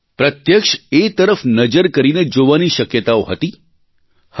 પ્રત્યક્ષ એ તરફ નજર કરીને જોવાની શક્યતાઓ હતી હતી